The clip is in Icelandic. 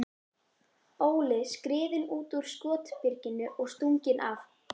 Óli skriðinn út úr skotbyrginu og stunginn af.